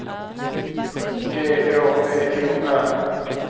G Å V O R